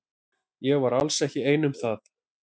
Ég var alls ekki ein um það.